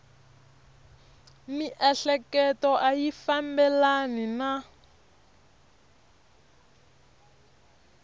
miehleketo a yi fambelani na